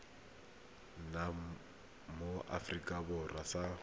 nna mo aforika borwa sa